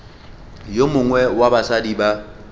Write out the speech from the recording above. yo mongwe wa basadi ba